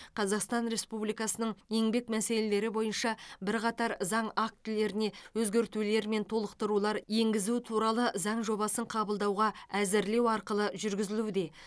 қазақстан республикасының еңбек мәселелері бойынша бірқатар заң актілеріне өзгертулер мен толықтырулар енгізу туралы заң жобасын қабылдауға әзірлеу арқылы жүргізілуде